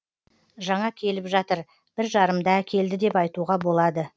жаңа келіп жатыр бір жарымда әкелді деп айтуға болады